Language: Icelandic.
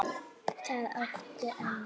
Það áttu enn.